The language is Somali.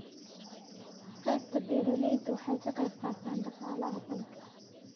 Qaybta beeralaydu waxay ka qayb qaataan dhaqaalaha dalka.